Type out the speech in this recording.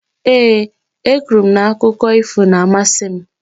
Ee, e kwuru m na akụkọ ífò na-amasị m.